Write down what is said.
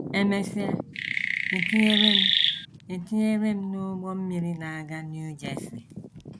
“ E mesịa, e tinyere m e tinyere m n’ụgbọ mmiri na - aga New Jersey.